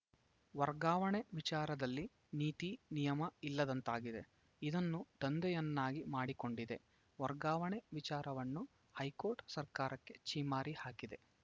ವರ್ಗಾವಣೆ ವಿಚಾರದಲ್ಲಿ ನೀತಿ ನಿಯಮ ಇಲ್ಲದಂತಾಗಿದೆ ಇದನ್ನು ದಂಧೆಯನ್ನಾಗಿ ಮಾಡಿಕೊಂಡಿದೆ ವರ್ಗಾವಣೆ ವಿಚಾರವನ್ನು ಹೈಕೋರ್ಟ್‌ ಸರ್ಕಾರಕ್ಕೆ ಛೀಮಾರಿ ಹಾಕಿದೆ